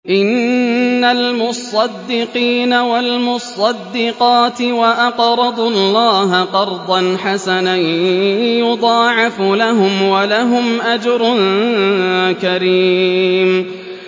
إِنَّ الْمُصَّدِّقِينَ وَالْمُصَّدِّقَاتِ وَأَقْرَضُوا اللَّهَ قَرْضًا حَسَنًا يُضَاعَفُ لَهُمْ وَلَهُمْ أَجْرٌ كَرِيمٌ